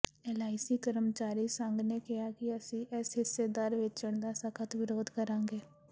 LIC ਕਰਮਚਾਰੀ ਸੰਘ ਨੇ ਕਿਹਾ ਕਿ ਅਸੀਂ ਇਸ ਹਿੱਸੇਦਾਰੀ ਵੇਚਣ ਦਾ ਸਖ਼ਤ ਵਿਰੋਧ ਕਰਾਂਗੇ